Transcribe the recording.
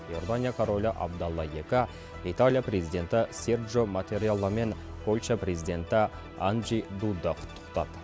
иордания королі абдалла екі италия президенті серджо маттарелла мен польша президенті анджей дуда құттықтады